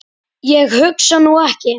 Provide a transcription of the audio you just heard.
Ég hugsa nú ekki.